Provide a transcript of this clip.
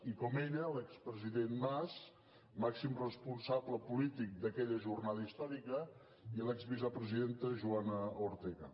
i com ella l’expresident mas màxim responsable polític d’aquella jornada històrica i l’exvicepresidenta joana ortega